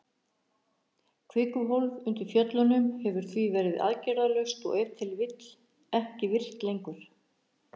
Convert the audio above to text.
Kvikuhólf undir fjöllunum hefur því verið aðgerðalaust og ef til vill ekki virkt lengur.